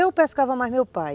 Eu pescava mais meu pai.